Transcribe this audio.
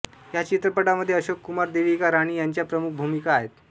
ह्या चित्रपटामध्ये अशोक कुमार देविका राणी ह्यांच्या प्रमुख भूमिका आहेत